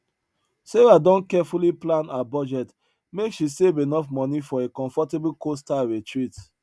sarah don carefully plan her budget make she save enough money for a comfortable coastal retreat